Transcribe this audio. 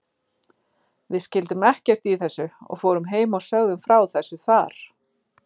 Við skildum ekkert í þessu og fórum heim og sögðum frá þessu þar.